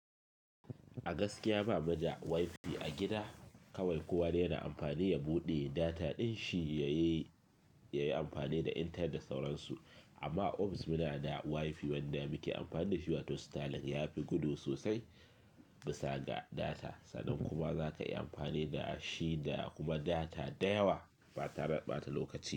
A gaskiya ba muna da WiFi a gida kawai. Kowanne yana amfani ya buɗe data din shi yayi amfani da intanet da sauransu. Amma OFIS muna da WiFi wanda muke amfani da shi wato styling yafi gudu sosai gusa ga data. Sannan kuma zaka iya amfani da shi da kuma data da yawa bata mai ɓata lokaci.